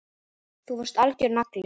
Þú varst algjör nagli.